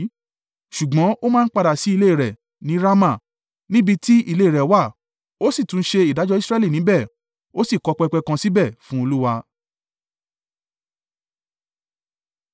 Ṣùgbọ́n ó máa ń padà sí ilé rẹ̀ ní Rama, níbí tí ilé rẹ̀ wà, ó sì túnṣe ìdájọ́ Israẹli níbẹ̀, ó sì kọ́ pẹpẹ kan síbẹ̀ fún Olúwa.